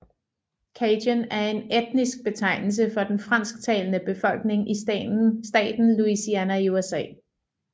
Cajun er en etnisk betegnelse for den fransktalende befolkning i staten Louisiana i USA